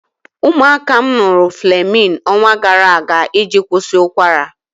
Ụmụaka m ṅụrụ Flemin ọnwa gara aga iji kwụsị ụkwara.